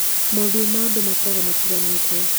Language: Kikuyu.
Mothiũ ma andũ makoragwo matiganĩte